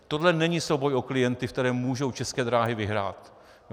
Toto není souboj o klienty, ve kterém mohou České dráhy vyhrát.